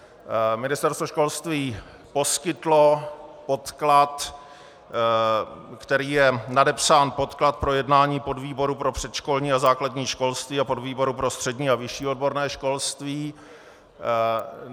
Ministerstvo školství poskytlo podklad, který je nadepsán Podklad pro jednání podvýboru pro předškolní a základní školství a podvýboru pro střední a vyšší odborné školství.